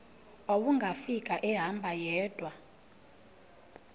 wawungafika ehamba yedwa